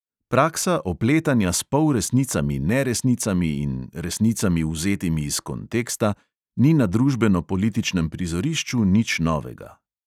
Praksa opletanja s polresnicami, neresnicami in resnicami, vzetimi iz konteksta, ni na družbeno-političnem prizorišču nič novega.